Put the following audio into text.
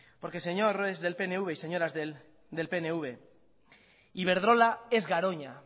porque señores del pnv y señoras del pnv iberdrola es garoña